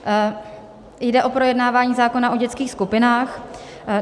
Jde o projednávání zákona o dětských skupinách.